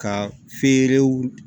Ka feerew